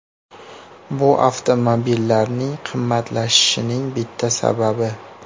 Bu avtomobillarning qimmatlashishining bitta sababi.